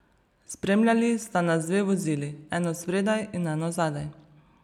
Spremljali sta nas dve vozili, eno spredaj in eno zadaj.